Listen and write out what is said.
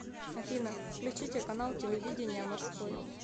афина включите канал телевидения морской